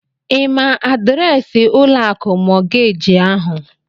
Ị ma adịreesị ụlọ akụ mọọgeeji ahụ?